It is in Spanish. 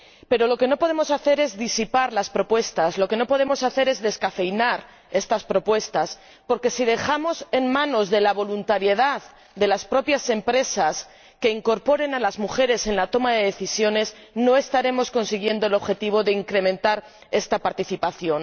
Pero lo que no podemos hacer es disipar las propuestas, lo que no podemos hacer es descafeinar estas propuestas porque, si dejamos en manos de la voluntariedad de las propias empresas la incorporación de las mujeres en la toma de decisiones, no estaremos consiguiendo el objetivo de incrementar esta participación.